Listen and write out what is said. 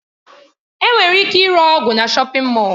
Enwere ike ịre ọgwụ na shọpin Mọll.